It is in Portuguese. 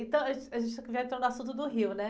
Então, a gente aqui já entrou no assunto do Rio, né?